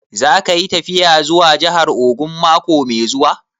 Za ka yi tafiya zuwa jahar Ogun mako mai zuwa?